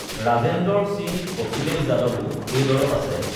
ৰাজেন্দৰ সিঙ অখিলেশ যাদৱো এই দলত আছে